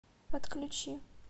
отключи